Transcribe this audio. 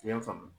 I y'a faamu